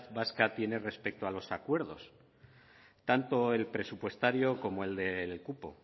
vasca tiene respecto a los acuerdos tanto el presupuestario como el del cupo